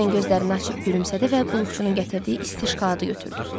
Dorien gözlərini açıb gülümsədi və qulluqçunun gətirdiyi isti şokoladı götürdü.